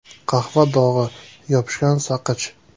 Qahva dog‘i, yopishgan saqich.